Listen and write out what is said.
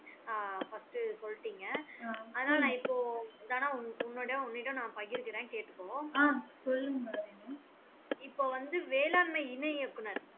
ஆஹ் first சொல்டிங்க ஆனா நா இப்போ தனா உன்னிடம் உன்னிடம் நான் பகிர்கிறேன் கேட்டுக்கோ இப்போ வந்து வேளாண்மை இணை இயக்குனர்